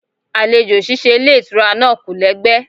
Àlejò ṣíṣe ilé ìtura náà kò lẹ́gbẹ́.